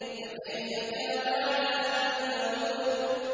فَكَيْفَ كَانَ عَذَابِي وَنُذُرِ